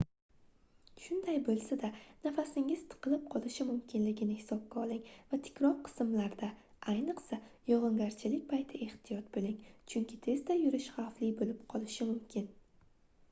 shunday boʻlsa-da nafasingiz tiqilib qolishi mumkinligini hisobga oling va tikroq qismlarda ayniqsa yogʻingarchilik payti ehtiyot boʻling chunki tezda yurish xavfli boʻlib qolishi mumkin